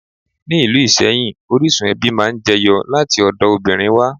Ni ìlú Ìsẹ́yìn, orísun ẹbí máa ń jẹ yọ láti ọ̀dọ̀ obìnrin wá.